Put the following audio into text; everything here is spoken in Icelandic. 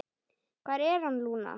Hvar er hann, Lúna?